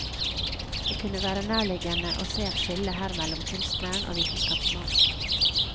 Det kunne være nærliggende å se et skille her mellom kunstneren og vitenskapsmannen.